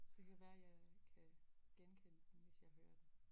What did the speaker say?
Det kan være jeg kan genkende den hvis jeg hører den